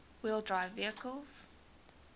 wheel drive vehicles